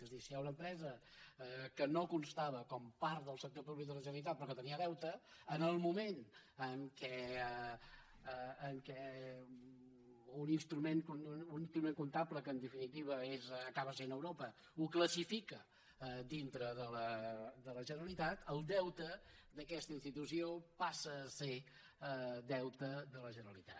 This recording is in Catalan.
és a dir si hi ha una empresa que no constava com a part del sector públic de la generalitat però que tenia deute en el moment en què un instrument comptable que en definitiva acaba sent europa la classifica dintre de la generalitat el deute d’aquesta institució passa a ser deute de la generalitat